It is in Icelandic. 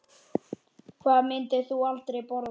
Hvað myndir þú aldrei borða?